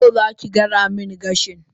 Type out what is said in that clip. yau zaki gyara min gashi?